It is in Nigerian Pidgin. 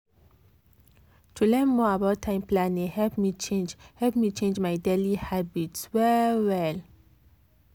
to learn more about time planning help me change help me change my daily habits well well.